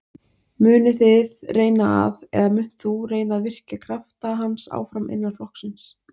Munuð þið reyna að, eða munt þú reyna að virkja krafta hans áfram innan flokksins?